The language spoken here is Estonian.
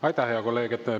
Aitäh, hea kolleeg!